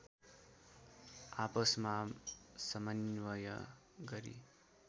आपसमा समन्वय गरी